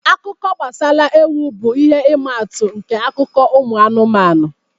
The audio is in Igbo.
Akụkọ gbasara ewu bụ ihe ịma atụ nke akụkọ ụmụ anụmanụ